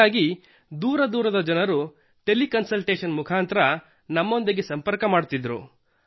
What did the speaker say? ಹೀಗಾಗಿ ದೂರ ದೂರದ ಜನರು ಟೆಲಿ ಕನ್ಸಲ್ಟೇಷನ್ ಮುಖಾಂತರ ನಮ್ಮೊಂದಿಗೆ ಸಂಪರ್ಕ ಹೊಂದುತ್ತಿದ್ದರು